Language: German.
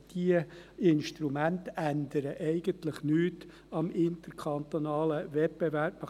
Diese Instrumente ändern eigentlich nichts am interkantonalen Wettbewerb.